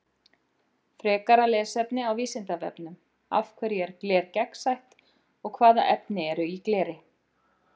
Frekara lesefni á Vísindavefnum: Af hverju er gler gegnsætt og hvaða efni eru í gleri?